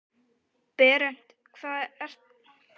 Berent, hvað geturðu sagt mér um veðrið?